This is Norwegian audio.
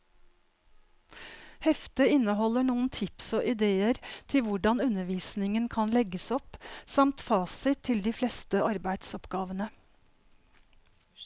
Heftet inneholder noen tips og idéer til hvordan undervisningen kan legges opp, samt fasit til de fleste arbeidsoppgavene.